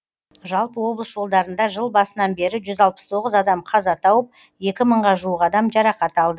жалпы облыс жолдарында жыл басынан бері жүз алпыс тоғыз адам қаза тауып екі мыңға жуық адам жарақат алды